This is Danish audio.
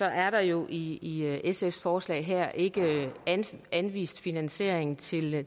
er der jo i sfs forslag her ikke anvist finansiering til det